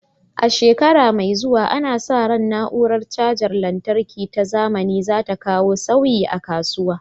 A shekara mai zuwa, ana sa ran na'urar cajar lantarki ta zamani za ta kawo sauyi a kasuwa.